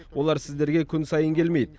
олар сіздерге күн сайын келмейді